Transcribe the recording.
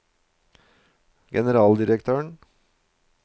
generaldirektøren